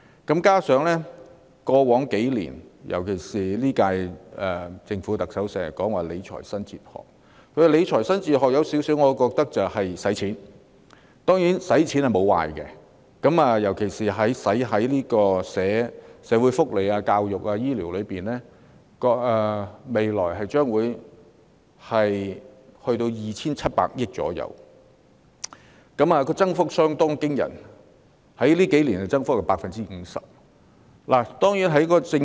加上在過去數年，尤其是今屆政府，特首經常說理財新哲學，而我有點認為她的理財新哲學就是花錢，花錢當然並非壞事，尤其是花在社會福利、教育和醫療方面，但政府未來會就這數個範疇撥款約 2,700 億元，有關預算在數年間增加 50%， 增幅相當驚人。